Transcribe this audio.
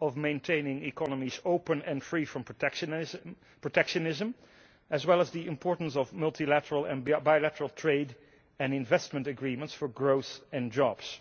of maintaining economies open and free from protectionism, as well as the importance of multilateral and bilateral trade and investment agreements for growth and jobs.